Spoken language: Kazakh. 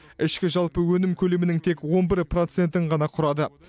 ішкі жалпы өнім көлемінің тек он бір процентін ғана құрады